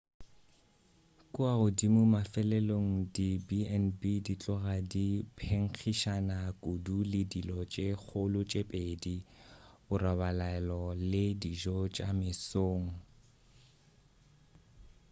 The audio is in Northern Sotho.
kua godimo mafelelong di b&b di tloga di phenkgišana kudu le dilo tše kgolo tše pedi borobalelo le dijo tša mesong